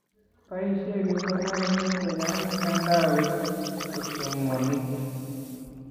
Boisie kipsomaninik che chang mtandaoit kosomonik.